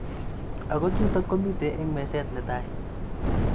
Ako chutok komitei eng meset netai .